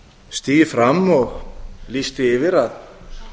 stigið fram og lýst því yfir að